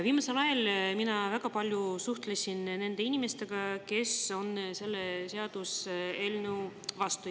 Viimasel ajal olen ma väga palju suhelnud nende inimestega, kes on selle seaduseelnõu vastu.